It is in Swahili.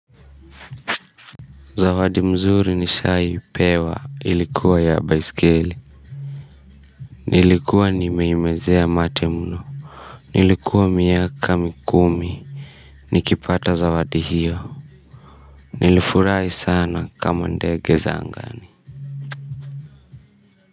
Zawadi mzuri nishaipewa ilikuwa ya baiskeli. Nilikuwa nimeimezea mate mno. Nilikuwa miaka mikumi nikipata zawadi hiyo. Nilifurahi sana kama ndege za angani.